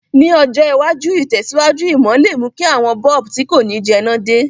Ní ọjọ̀ iwájú, ìtẹ̀síwájú ìmò le mú ki àwon bulb ti ko ni jẹná de